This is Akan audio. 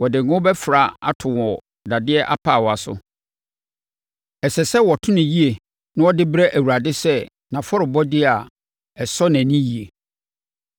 Wɔde ngo bɛfra ato wɔ dadeɛ apaawa so. Ɛsɛ sɛ wɔto no yie na wɔde brɛ Awurade sɛ nʼafɔrebɔdeɛ a ɛsɔ nʼani yie.